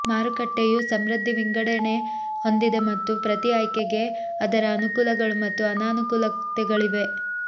ಮಾರುಕಟ್ಟೆಯು ಸಮೃದ್ಧ ವಿಂಗಡಣೆ ಹೊಂದಿದೆ ಮತ್ತು ಪ್ರತಿ ಆಯ್ಕೆಗೆ ಅದರ ಅನುಕೂಲಗಳು ಮತ್ತು ಅನಾನುಕೂಲತೆಗಳಿವೆ